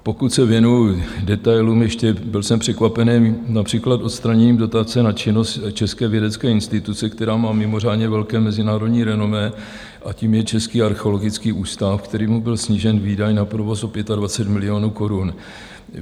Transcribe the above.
Pokud se věnuji detailům ještě, byl jsem překvapený například odstraněním dotace na činnost české vědecké instituce, která má mimořádně velké mezinárodní renomé, a tou je Český archeologický ústav, kterému byl snížen výdaj na provoz o 25 milionů korun.